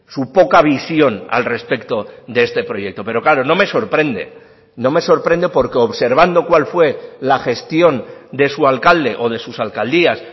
su poca visión al respecto de este proyecto pero claro no me sorprende no me sorprende porque observando cuál fue la gestión de su alcalde o de sus alcaldías